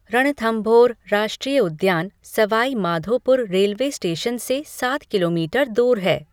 रणथंभौर राष्ट्रीय उद्यान Sawai Madhopur railway station से सात किलोमीटर दूर है।